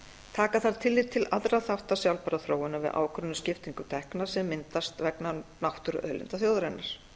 taka þarf tillit til allra þátta sjálfbærrar þróunar við ákvörðun á skiptingu tekna sem myndast vegna náttúruauðlinda þjóðarinnar